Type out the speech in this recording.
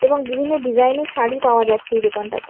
এবং বিভিন্ন ডিজাইন এর শাড়ি পাওয়া যাচ্ছে এই দোকানটাতে।